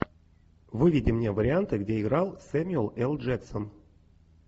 выведи мне варианты где играл сэмюэл л джексон